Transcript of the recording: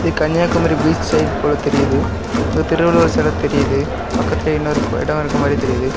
Kanyakumari beach side போல தெரியுது அங்க திருவள்ளுவர் செல தெரியுது பக்கத்திலேயே இன்னொரு இடம் இருக்கற மாறி தெரியுது.